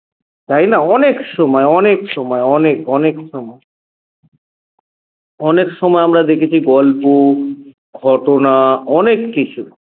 তাই না অনেক সময় অনেক সময় অনেক অনেক সময় অনেক সময় আমরা দেখেছি গল্প ঘটনা অনেক কিছু